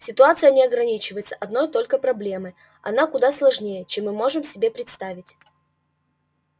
ситуация не ограничивается одной только проблемой она куда сложнее чем мы можем себе представить